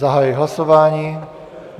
Zahajuji hlasování.